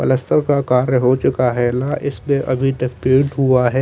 Plaster का कार्य हो चूका हैं ला इसलिए अभी तक पेंट हुआ हैं।